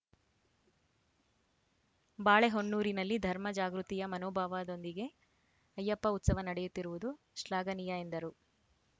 ಬಾಳೆಹೊನ್ನೂರಿನಲ್ಲಿ ಧರ್ಮ ಜಾಗೃತಿಯ ಮನೋಭಾವದೊಂದಿಗೆ ಅಯ್ಯಪ್ಪ ಉತ್ಸವ ನಡೆಯುತ್ತಿರುವುದು ಶ್ಲಾಘನೀಯ ಎಂದರು